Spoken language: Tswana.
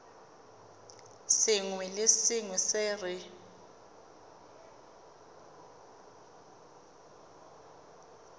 sengwe le sengwe se re